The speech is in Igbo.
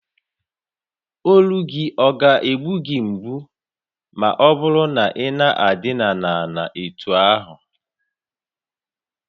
Olu gị ọ̀ ga egbu gị mgbu ma ọ bụrụ na ị na-idina ana etú ahụ?